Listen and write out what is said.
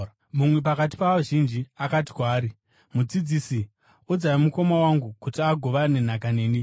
Mumwe pakati pavazhinji akati kwaari, “Mudzidzisi, udzai mukoma wangu kuti agovane nhaka neni.”